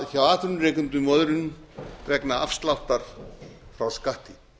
hjá atvinnurekendum og öðrum vegna afsláttar frá skatti